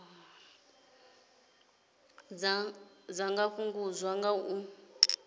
dza nga fhungudzwa nga u